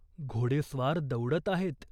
घोडेस्वार दौडत आहेत.